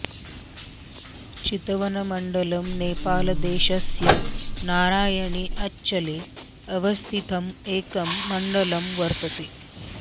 चितवनमण्डलम् नेपालदेशस्य नारायणी अञ्चले अवस्थितं एकं मण्डलं वर्तते